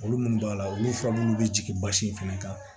Olu munnu b'a la olu fura minnu bɛ jigin basi in fana kan